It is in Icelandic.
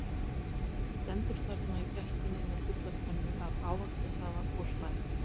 Stendur þarna í gættinni með fulla könnu af ávaxtasafa og hlær.